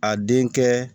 A den kɛ